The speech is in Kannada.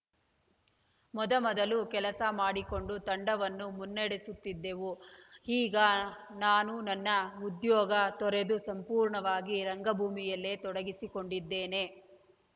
ಮೊದ ಮೊದಲು ಕೆಲಸ ಮಾಡಿಕೊಂಡು ತಂಡವನ್ನು ಮುನ್ನಡೆಸುತ್ತಿದ್ದೆವು ಈಗ ನಾನು ನನ್ನ ಉದ್ಯೋಗ ತೊರೆದು ಸಂಪೂರ್ಣವಾಗಿ ರಂಗಭೂಮಿಯಲ್ಲೇ ತೊಡಗಿಸಿಕೊಂಡಿದ್ದೇನೆ